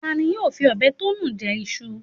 Ta ni yóò fi ọbẹ̀ tó nu jẹ iṣu